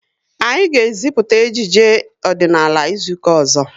Anyi ga e ziputa ejije ọdịnala izuka ụzọ